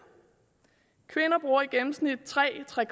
kvinder bruger i gennemsnit tre tre